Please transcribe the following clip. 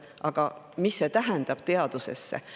Aga mis see tähendab, et teadusesse?